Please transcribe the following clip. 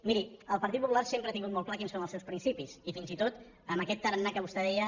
miri el partit popular sempre ha tingut molt clar quins són els seus principis i fins i tot amb aquest tarannà que vostè deia